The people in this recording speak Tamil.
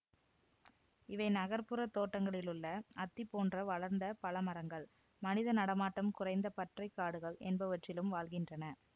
இவை நகர்ப்புறத் தோட்டங்களிலுள்ள அத்தி போன்ற வளர்ந்த பழ மரங்கள் மனித நடமாட்டம் குறைந்த பற்றைக் காடுகள் என்பவற்றிலும் வாழ்கின்றன